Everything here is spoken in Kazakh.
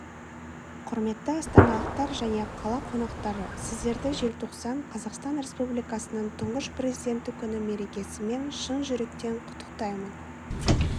құрметті астаналықтар және қала қонақтары сіздерді желтоқсан қазақстан республикасының тұңғыш президенті күні мерекесімен шын жүректен құттықтаймын